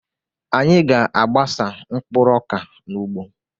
Anyị ga-agbasa mkpụrụ ọka n'ugbo.